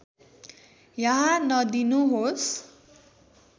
यहाँ नदिनुहोस्